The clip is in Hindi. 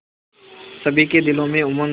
सभी के दिलों में उमंग